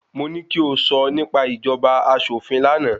Mo ní ki o sọ nípa ìjọba aṣòfin lánàá